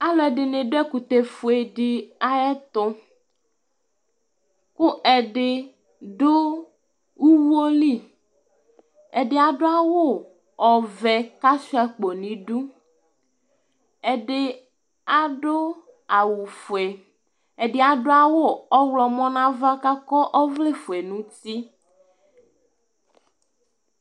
Alʋɛdɩnɩ dʋ ɛkʋtɛfue dɩ ayɛtʋ kʋ ɛdɩ dʋ uwo li Ɛdɩ adʋ awʋvɛ kʋ asʋɩa akpo nʋ idu, ɛdɩ adʋ awʋfue, ɛdɩ adʋ awʋ ɔɣlɔmɔ nʋ ava kʋ akɔ ɔvlɛfue nʋ uti